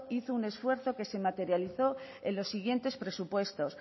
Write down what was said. hizo un esfuerzo que se materializó en los siguientes presupuestos